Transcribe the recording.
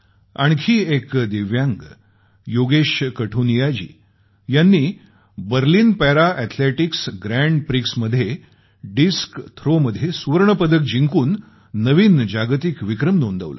आणखी एक दिव्यांग योगेश कठुनिया जी यांनी Berlin para athletics grand prix मध्ये थाळीफेक मध्ये सुवर्ण पदक जिंकून नवीन जागतिक विक्रम नोंदवला